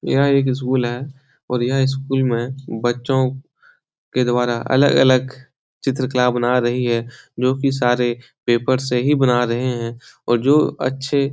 यह एक स्कूल हैं और यह स्कूल में बच्चों के द्वारा अलग-अलग चित्रकला बना रही है जो कि सारे पेपर से ही बना रहे हैं और जो अच्छे --